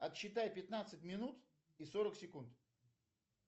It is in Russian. отсчитай пятнадцать минут и сорок секунд